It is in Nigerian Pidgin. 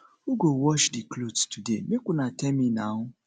who go wash di clothes today make una tell me now